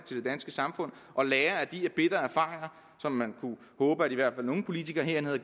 det danske samfund og lære af de bitre erfaringer som man kunne håbe at i hvert fald nogle politikere hernede